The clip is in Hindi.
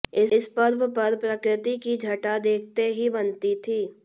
इस पर्व पर प्रकृति की छटा देखते ही बनती थी